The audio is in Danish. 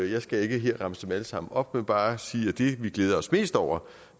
jeg skal ikke her remse dem alle sammen op men bare sige at det vi glæder os mest over